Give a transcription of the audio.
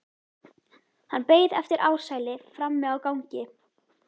Hann beið eftir Ársæli frammi á gangi.